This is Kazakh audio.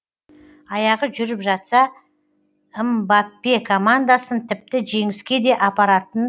аяғы жүріп жатса мбаппе командасын тіпті жеңіске де апаратын